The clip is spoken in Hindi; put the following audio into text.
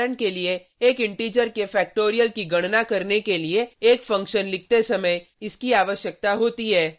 उदाहरण के लिए एक इंटीजर के फ़ैक्टोरियल की गणना करने के लिए एक फंक्शन लिखते समय इसकी आवश्यकता होती है